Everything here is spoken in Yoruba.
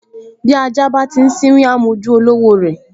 Bí ajá bá ti sínwín, á m’ojú olówó rẹ̀